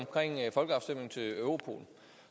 folkeafstemningen til europol